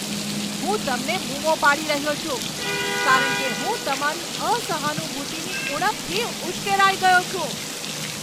હું તમને બુમો પાડી રહ્યો છું કારણ કે હું તમારી અસહાનુભૂતિની ઉણપથી ઉશ્કેરાઈ ગયો છું.